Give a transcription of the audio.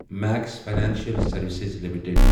Max financial services limited